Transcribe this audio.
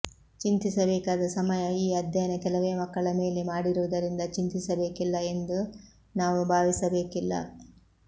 ಚಿಂತಿಸಬೇಕಾದ ಸಮಯ ಈ ಅಧ್ಯಯನ ಕೆಲವೇ ಮಕ್ಕಳ ಮೇಲೆ ಮಾಡಿರುವುದರಿಂದ ಚಿಂತಿಸಬೇಕಿಲ್ಲಎಂದು ನಾವು ಭಾವಿಸಬೇಕಿಲ್ಲ